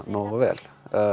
nógu vel